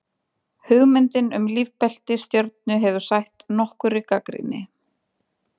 hugmyndin um lífbelti stjörnu hefur sætt nokkurri gagnrýni